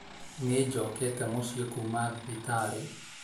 Nĩ njokete mũciĩ kuuma thibitarĩ